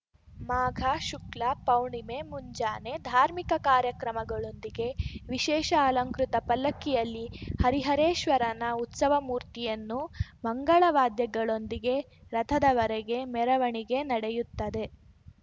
ಮಾಘ ಶುಕ್ಲ ಪೌರ್ಣಿಮೆ ಮುಂಜಾನೆ ಧಾರ್ಮಿಕ ಕಾರ್ಯಕ್ರಮಗಳೊಂದಿಗೆ ವಿಶೇಷ ಅಲಂಕೃತ ಪಲ್ಲಕ್ಕಿಯಲ್ಲಿ ಹರಿಹರೇಶ್ವರನ ಉತ್ಸವ ಮೂರ್ತಿಯನ್ನು ಮಂಗಳವಾದ್ಯಗಳೊಂದಿಗೆ ರಥದವರೆಗೆ ಮೆರವಣಿಗೆ ನಡೆಯುತ್ತದೆ